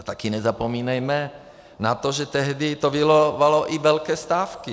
A taky nezapomínejme na to, že tehdy to vyvolalo i velké stávky.